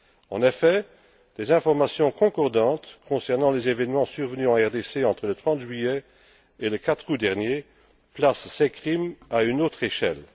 En effet, des informations concordantes concernant les événements survenus en RDC entre le 30 juillet et le 4 août dernier placent ces crimes à une autre échelle.